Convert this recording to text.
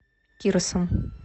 кирсом